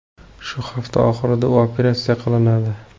Shu hafta oxirida u operatsiya qilinadi.